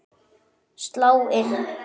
Sláin inn.